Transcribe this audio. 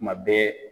Tuma bɛɛ